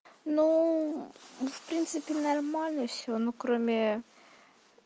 ну в принципе нормально всё ну кроме